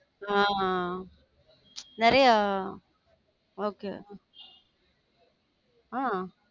ஹம் நிறையா okay ஹம்